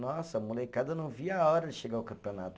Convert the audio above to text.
Nossa, a molecada não via a hora de chegar o campeonato.